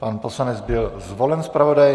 Pan poslanec byl zvolen zpravodajem.